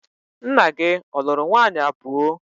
Nna gi ọ lụrụ nwaanyi abuo?